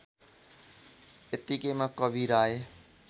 यतिकैमा कवीर आए